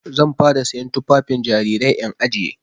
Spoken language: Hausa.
Zan fara siyan tufafin jarirai in ajiye.